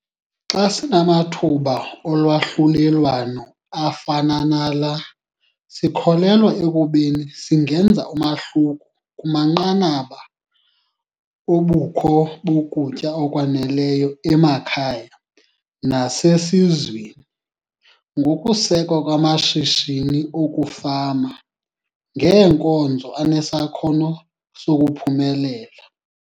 Xa sinamathuba olwahlulelwano afana nala sikholelwa ekubeni singenza umahluko kumanqanaba obukho bokutya okwaneleyo emakhaya nasesizweni ngokusekwa kwamashishini okufama ngeenkozo anesakhono sokuphumelela.